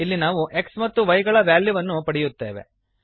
ಇಲ್ಲಿ ನಾವು x ಮತ್ತು y ಗಳ ವ್ಯಾಲ್ಯೂವನ್ನು ಪಡೆಯುತ್ತೇವೆ